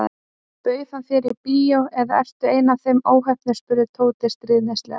Bauð hann þér í bíó eða ertu ein af þeim óheppnu spurði Tóti stríðnislega.